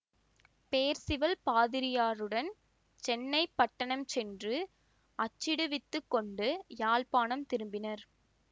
Perceval பாதிரியருடன் சென்னைப்பட்டணம் சென்று அச்சிடுவித்துக் கொண்டு யாழ்ப்பாணம் திரும்பினர்